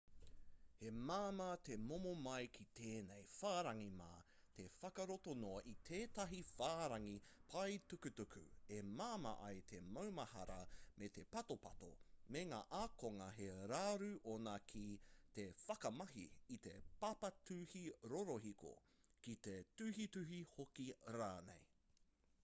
he māmā te tomo mai ki tēnei whārangi mā te whakarato noa i tētahi whārangi paetukutuku e māma ai te maumahara me te patopato mā ngā ākonga he raru ōna ki te whakamahi i te papatuhi rorohiko ki te tuhituhi hoki rānei